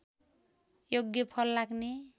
योग्य फल लाग्ने